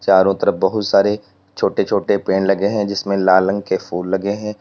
चारों तरफ बहुत सारे छोटे छोटे पेड़ लगे है जिसमें लाल रंग के फूल लगे है।